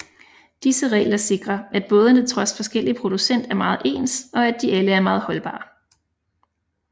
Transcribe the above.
Disse regler sikrer at bådene trods forskellig producent er meget ens og at de alle er meget holdbare